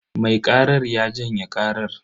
Mai karar ya janye karar.